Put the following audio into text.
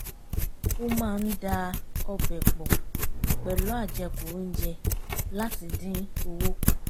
ó máa ń da ọbẹ̀ pọ̀ pẹ̀lú àjẹkù oúnjẹ láti dín owó kù